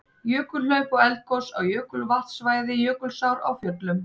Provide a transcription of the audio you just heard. Jökulhlaup og eldgos á jökulvatnasvæði Jökulsár á Fjöllum.